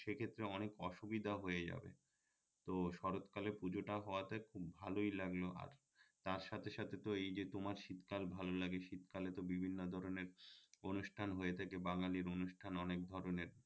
সেক্ষেত্রে অনেক অসুবিধা হয়ে যাবে তো শরৎ কালে পুজোটা হওয়াতে খুব ভালই লাগলো আর তার সাথে সাথে তো এই যে তোমার শীতকাল ভাল লাগে শীত কালে তো বিভিন্ন ধরণের অনুষ্ঠান হয়ে থাকে বাঙালির অনুষ্ঠানের অনেক ধরণের